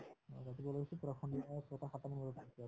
অ, ৰাতিপুৱা ওলাই গৈছো পূৰা সন্ধিয়া ছয়টা সাতটামান বজাত পাইছো আমি